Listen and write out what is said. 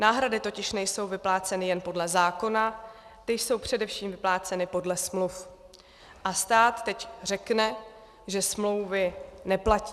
Náhrady totiž nejsou vypláceny jen podle zákona, ty jsou především vypláceny podle smluv, a stát teď řekne, že smlouvy neplatí.